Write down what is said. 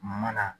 Ma na